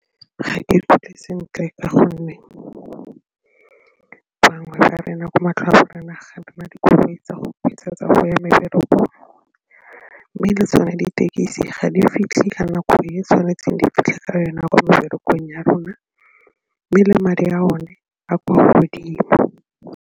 Ga ke ikutlwe sentle ka gonne bangwe ba tsa go ya meberekong mme le tsone ditekisi ga di fitlhe ka nako e tshwanetseng di fitlhe ka yona ya ko meberekong ya rona mme le madi a one a kwa godimo.